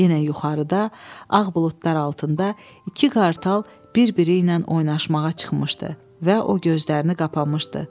Yenə yuxarıda ağ buludlar altında iki qartal bir-biri ilə oynamağa çıxmışdı və o gözlərini qapamışdı.